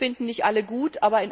Das finden nicht alle gut.